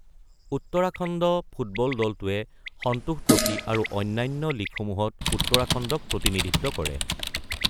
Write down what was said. Uttarakhand football দলটোৱে Santosh trophy আৰু অন্যান্য লীগসমূহত উত্তৰাখণ্ডক প্ৰতিনিধিত্ব কৰে।